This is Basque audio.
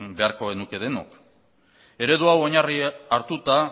beharko genuke denok eredu hau oinarri hartuta